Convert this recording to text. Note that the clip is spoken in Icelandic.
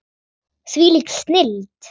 Þvílík snilld.